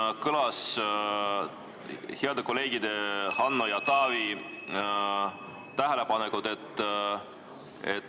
Siin kõlasid heade kolleegide Hanno ja Taavi tähelepanekud.